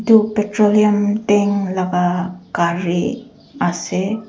edu petroleum tank laga gari ase.